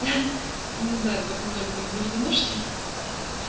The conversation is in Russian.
я не знаю в этом доме так заведено чтоль ха-ха